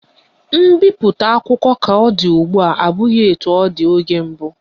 Mbipụta akwụkwọ ka ọ dị ugbua abụghị etu ọ dị oge mbụ